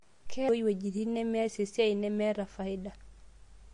Keeta ena mtandai wejitin nemeas esiai, nemeeta faida.